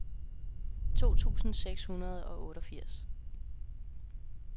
to tusind seks hundrede og otteogfirs